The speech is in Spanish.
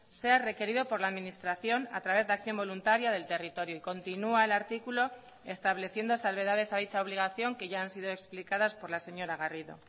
sea requerido por la administración a través de acción voluntaria del territorio y continúa el artículo estableciendo salvedades a dicha obligación que ya han sido explicadas por la señora garrido